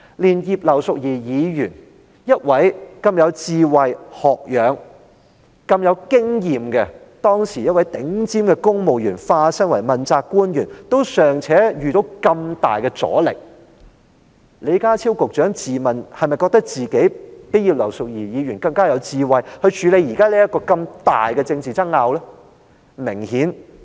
連葉劉淑儀議員當時這位很有智慧、學養和經驗的頂尖公務員，在化身成為問責官員後，也尚且遇上那麼大的阻力，李家超局長是否自問較葉劉淑儀議員更加有智慧，可以處理現時這個如此巨大的政治爭拗呢？